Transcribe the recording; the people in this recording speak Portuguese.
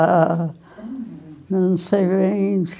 Ah, não sei bem.